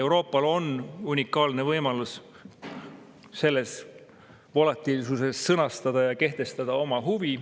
Euroopal on unikaalne võimalus selles volatiilsuses sõnastada ja kehtestada oma huvi.